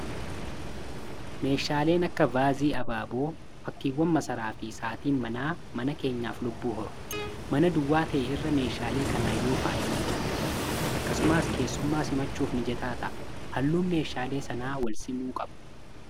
meeshaaleen akka vaazii abaaboo fakkiiwwan masaraa fi saatiin manaa mana keenyaaf lubbuu horu mana duwwaa ta'e irra meeshaalee kanan yoo faayame namatti tola akkasumaas keessummaa simachuuf mijataa ta'a .halluun meeshaalee sanaan wal simuu qabu.